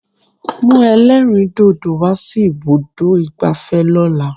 Mú ẹlẹ́rìndòdò wá sí ibùdó ìgbafẹ́ lọ́la!